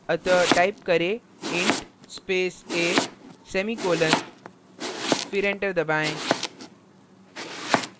अतः type करें int a semicolon फिर enter दबाएँ